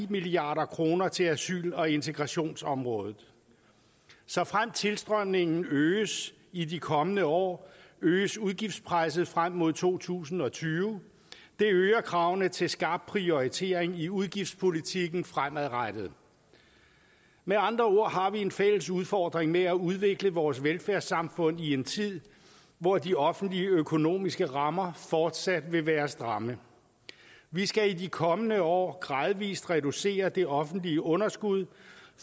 milliard kroner til asyl og integrationsområdet såfremt tilstrømningen øges i de kommende år øges udgiftspresset frem mod to tusind og tyve det øger kravene til skarp prioritering i udgiftspolitikken fremadrettet med andre ord har vi en fælles udfordring med at udvikle vores velfærdssamfund i en tid hvor de offentlige økonomiske rammer fortsat vil være stramme vi skal i de kommende år gradvis reducere det offentlige underskud